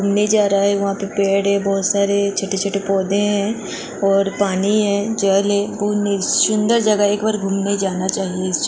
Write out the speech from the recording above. घूमने जा रहा है वहां प पेड़ है बहुत सारे छोटे-छोटे पौधे हैं और पानी है जल है सुंदर जगह एक बार घूमने जाना चाहिए।